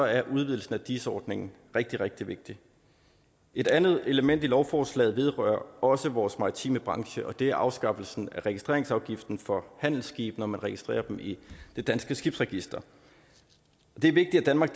er udvidelsen af dis ordningen rigtig rigtig vigtig et andet element i lovforslaget vedrører også vores maritime branche og det er afskaffelsen af registreringsafgiften for handelsskibe når man registrerer dem i det danske skibsregister det er vigtigt at danmark